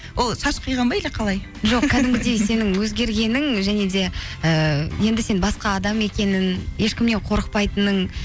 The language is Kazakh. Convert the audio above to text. ол шаш қиған ба или қалай сенің өзгергенің және де ііі енді сен басқа адам екенің ешкімнен қорықпайтының